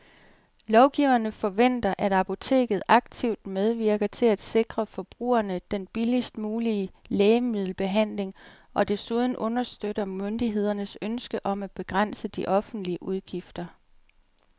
Lovgiverne forventer, at apoteket aktivt medvirker til at sikre forbrugerne den billigst mulige lægemiddelbehandling og desuden understøtter myndighedernes ønske om at begrænse de offentlige udgifter.